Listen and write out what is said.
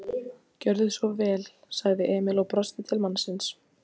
Gjörðu svo vel, sagði Emil og brosti til mannsins.